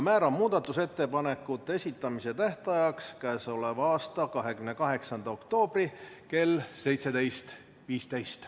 Määran muudatusettepanekute esitamise tähtajaks k.a 28. oktoobri kell 17.15.